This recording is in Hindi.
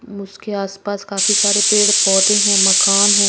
म उसके आस पास काफी सारे पेड़ पौधे हैं मकान है--